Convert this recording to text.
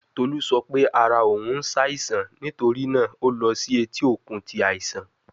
Tolu sọ pe ara oun n ṣaisan nitori naa o lọ si eti okun ti aisan